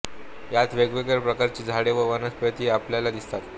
यात वेगवेगळ्या प्रकारची झाडे व वनस्पती आपल्याला दिसतात